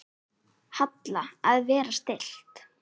Halla: Að vera stillt.